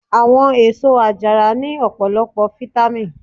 Àwọn èsó àjàrà ní ọpọlọpọ fitamì.